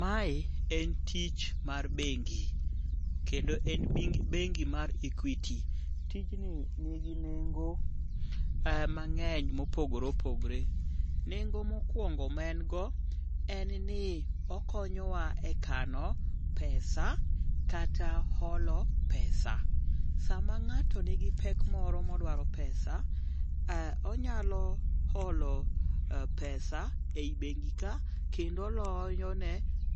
Mae en tich mar bengi, kendo en bengi mar Equity. Tijni nigi nengo mang'eny mopogore opogore. Nengo mokwongo ma en go en ni okonyowa e kano pesa kata holo pesa. Sama ng'ato nigi pek moro modwaro pesa, onyalo holo pesa ei bengi ka kendo oloyo ne